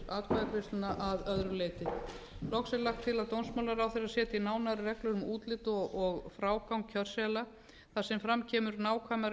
atkvæðagreiðsluna að öðru leyti loks er lagt til að dómsmálaráðherra setji nánari reglur um útlit og frágang kjörseðla þar sem fram kemur nákvæmari